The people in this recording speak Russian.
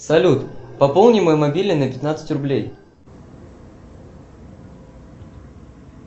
салют пополни мой мобильный на пятнадцать рублей